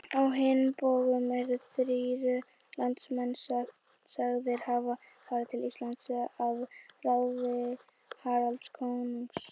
Á hinn bóginn eru þrír landnámsmenn sagðir hafa farið til Íslands að ráði Haralds konungs.